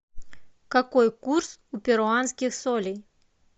какой курс у перуанских солей